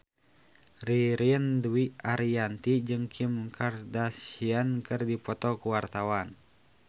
Ririn Dwi Ariyanti jeung Kim Kardashian keur dipoto ku wartawan